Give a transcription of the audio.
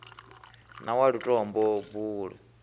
na wa lutombo buluu i